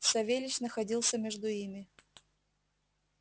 савельич находился между ими